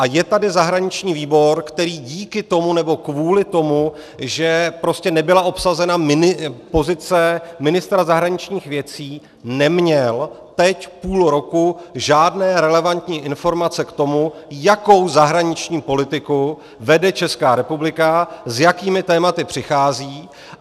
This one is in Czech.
A je tady zahraniční výbor, který díky tomu, nebo kvůli tomu, že prostě nebyla obsazena pozice ministra zahraničních věcí, neměl teď půl roku žádné relevantní informace k tomu, jakou zahraniční politiku vede Česká republika, s jakými tématy přichází.